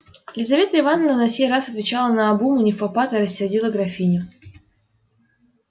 лизавета ивановна на сей раз отвечала наобум и невпопад и рассердила графиню